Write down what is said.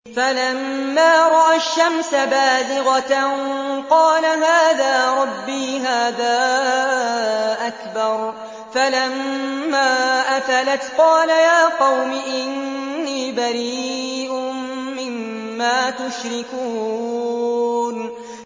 فَلَمَّا رَأَى الشَّمْسَ بَازِغَةً قَالَ هَٰذَا رَبِّي هَٰذَا أَكْبَرُ ۖ فَلَمَّا أَفَلَتْ قَالَ يَا قَوْمِ إِنِّي بَرِيءٌ مِّمَّا تُشْرِكُونَ